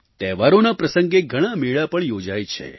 તહેવારોના પ્રસંગે ઘણા મેળા પણ યોજાય છે